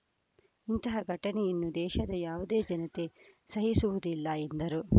ಇಂತಹ ಘಟನೆಯನ್ನು ದೇಶದ ಯಾವುದೇ ಜನತೆ ಸಹಿಸುವುದಿಲ್ಲ ಎಂದರು